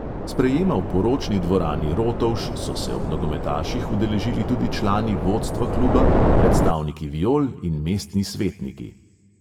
Sprejema v poročni dvorani rotovž so se ob nogometaših udeležili tudi člani vodstva kluba, predstavniki viol in mestni svetniki.